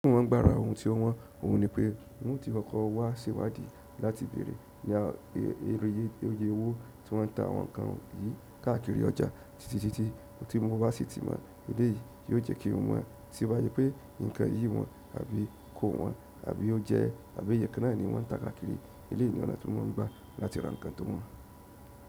Wọn gbára ohun tí wọn mọ̀, òun ni pé wọn ti kọkọ wá sewádìí láti bèrè ní èrò yìí, iye owó tí wọ́n ń ta àwọn nǹkan yìí káàkiri ọjà títí títí tí wọn bá sì ti mọ ilé yìí tí yóò jẹ́ kí wọn mọ̀ tobajẹ pé nǹkan yìí wọ́n àbí kò wọ́n àbí ó jẹ́ àbí ìyẹ́kánná ni wọ́n ń ta káàkiri eleyi ni ọ̀nà tí mo ń gba láti ra ǹkan tó wọ́n.